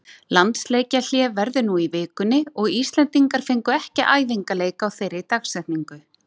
Landsleikjahlé verður nú í vikunni og Íslendingar fengu ekki æfingaleik á þeirri dagsetningu.